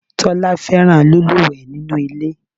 Tólá fẹ́ràn lílúwèé nínú ilé